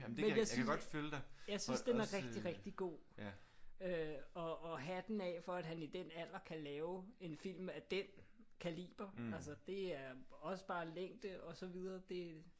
Men jeg synes jeg synes den er rigtig rigtig god. Øh og og hatten af for at han i den alder kan lave en film af den kaliber. Altså det er også bare længde og så videre. Det